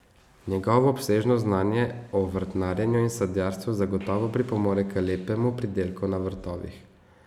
Njegovo obsežno znanje o vrtnarjenju in sadjarstvu gotovo pripomore k lepemu pridelku na vrtovih.